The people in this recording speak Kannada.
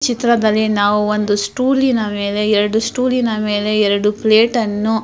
ಈ ಚಿತ್ರದಲ್ಲಿ ನಾವು ಒಂದು ಸ್ಟೂಲಿನ ಮೇಲೆ ಎರಡು ಸ್ಟೂಲಿನ ಮೇಲೆ ಎರಡು ಪ್ಲೇಟ್ ಅನ್ನು --